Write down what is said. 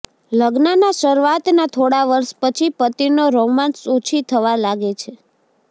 લગ્નના શરૂઆતના થોડા વર્ષ પછી પતિનો રોમાંસ ઓછી થવા લાગે છે